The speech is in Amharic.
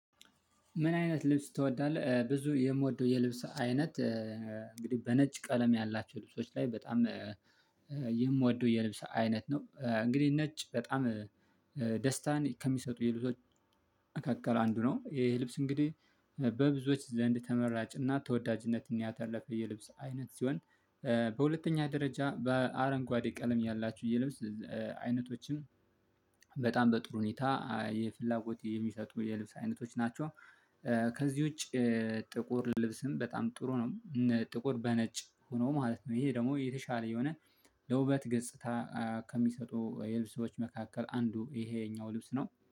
ምን? አይነት ልብስ ትወዳለህ ብዙ የምወደው የልብስ አይነት እንግዲህ በነጭ ቀለም ያላቸው ልብሶች ላይ በጣም የምወደው የልብስ አይነት ነው። እንግዲህ ነጭ በጣም ደስታን ከሚሰጡ የልብሶች መካከል አንዱ ነው። ይሄ ልብስ እንግዲህ በብዙዎች ዘንድ ተመራጭና ተወዳጅነትን ያተረፈ የልብስ አይነት ሲሆን ኧ በሁለተኛ ደረጃ በአረንጓዴ ቀለም ያላችሁ የልብስ አይነቶችን በጣም በጥሩ ሁኔታ የፍላጎት የሚሰጡ የልብስ አይነቶች ናቸው። ከዚህ ውጪ ጥቁር ልብስም በጣም ጥሩ ነው። ጥቁር በነጭ ሆኖ ማለት ነው ይሄ ደግሞ የተሻለ የሆነ ለውበት ገጽታ ከሚሰጡ የልብስ መካከል አንዱ ይሄኛው ልብስ ነው